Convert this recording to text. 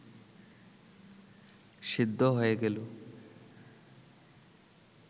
সেদ্ধ হয়ে গেলে